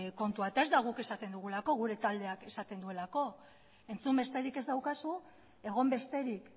kontua eta ez da guk esaten dugulako gure taldeak esaten duelako entzun besterik ez daukazu egon besterik